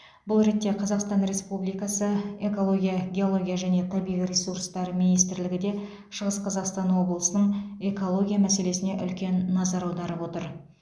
бұл ретте қазақстан республикасы экология геология және табиғи ресурстар министрлігі де шығыс қазақстан облысының экология мәселесіне үлкен назар аударып отыр